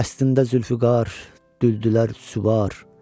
Dəstində zülfüqar, güldülər süvar.